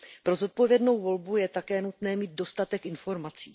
Pro zodpovědnou volbu je také nutné mít dostatek informací.